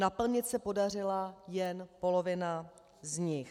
Naplnit se podařilo jen polovinu z nich.